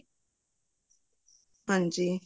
ਹਾਂਜੀ